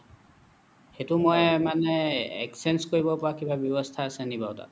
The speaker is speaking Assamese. সেইটো মই মানে exchange কৰিব পৰা কিবা ৱ্যবস্থা আছে নেকি বাৰু তাত